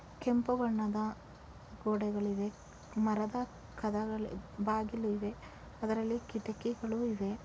ಕೆಂಪು ಬಣ್ಣದ ಗೋಡೆಗಳು ಇವೆ ಮರದ ಕದಗಳು ಬಾಗಿಲು ಇವೆ ಅದರಲ್ಲಿ ಕಿಟಕಿಗಳು ಇವೆ